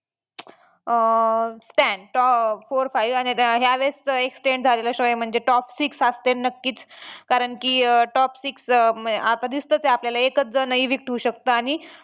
अं Stan four five आणि यावेळेस extend झालेला show आहे म्हणजे top six असतील नक्कीच कारण की top six आता दिसतंच आहे आपल्याला एकच evict शकतं आणि